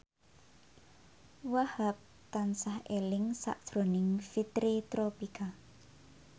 Wahhab tansah eling sakjroning Fitri Tropika